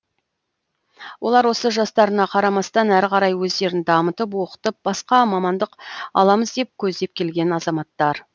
олар осы жастарына қарамастан әрі қарай өздерін дамытып оқытып басқа мамандық аламыз деп көздеп келген азаматтар